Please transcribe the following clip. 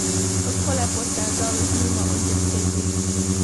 Kako lepo se je dalo z njima oddrseti ...